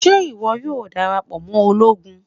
Ṣe iwọ yoo darapọ mọ ologun?